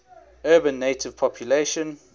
urban native population